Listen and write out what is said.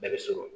Bɛɛ bɛ sɔrɔ